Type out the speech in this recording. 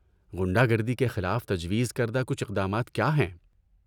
غنڈہ گردی کے خلاف تجویز کردہ کچھ اقدامات کیا ہیں؟